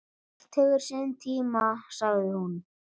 Allt hefur sinn tíma, sagði hún.